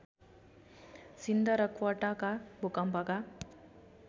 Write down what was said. सिन्ध र क्वेटाका भूकम्पका